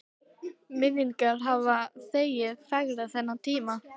Minningin hafði þegar fegrað þennan tíma.